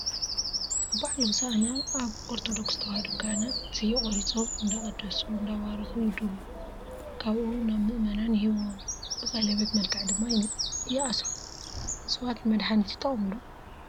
ኣብ ባዓል ሆሳኢና ኣብ ኦርቶዶክስ ተዋህዶ ካህናት ስየ ቆሪፆም እንዳቀደሱ እንዳባረኩ ይድሩ ካብኡ ናብ ምእመናን ይህብዎም ። ብቀሌቤት መልክዕ ድማ ይኣስርዎ። እፅዋት ንመድሓኒት ይጠቅሙ ዶ?